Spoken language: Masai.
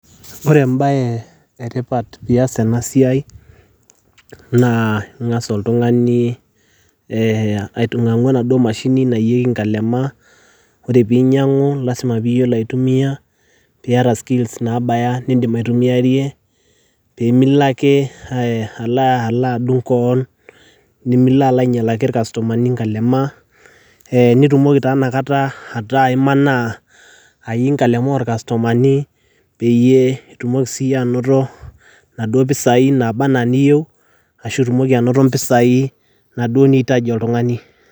Ore embaye e tipat pias na siai naa ing'as oltung'ani ee aitung'ang'u ena duo mashini naiyieki nkalema, ore piinyang'u lazima piiyolo aitumia piyata skills naabaya nindim aitumiarie pee milo ake alo adung' koon nemilo alo ainyalaki ir customer ni nkalema, ee nitumoki taa inakata ataa imanaa aiyii nkalema or customer ni peyie itumoki siyie anoto naduo pisai naaba naa niyeu ashu itumoki anoto mpisai naaduo niyeu oltung'ani.